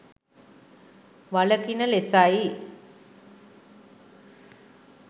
වළකින ලෙසයි.